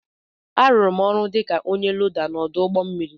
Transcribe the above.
A lụrụ m ọrụ dịka ọnye loda n'odu ụgbọ mmiri